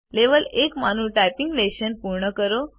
level 1 માંનું typing lesson પૂર્ણ કરો